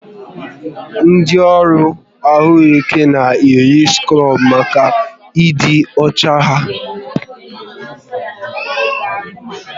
Ndị ọrụ ahụike na-eyi skrub maka ịdị ọcha ha